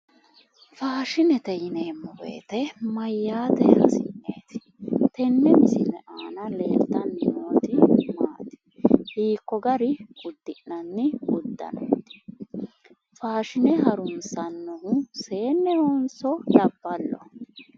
Faashinete yineemmo woyite mayyaate hasi'neeti? Tenne misile aana leeltanni nooti maati? Hiikko gari uddi'nanni uddanooti? Faashine harunsannohu seennehonso labballoho?